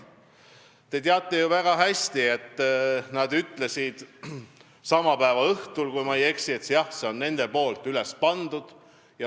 Te teate ju väga hästi, et nad ütlesid sama päeva õhtul, kui ma eksi, et jah, see oli nende üles pandud.